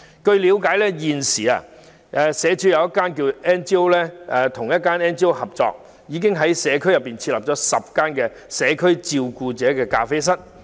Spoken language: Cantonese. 據我了解，社署現與一家非政府機構合作，並已在社區設立10家"社區照顧者咖啡室"。